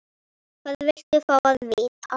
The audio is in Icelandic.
Hvað viltu fá að vita?